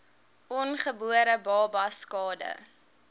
ongebore babas skade